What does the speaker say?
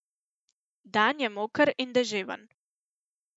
Dan je moker in deževen.